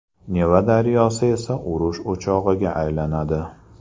Neva daryosi esa urush o‘chog‘iga aylanadi.